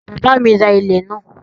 Bàbá à mí ra ilẹ̀ ńlá